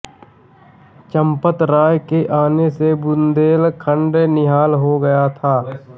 चम्पतराय के आने से बुन्देलखण्ड निहाल हो गया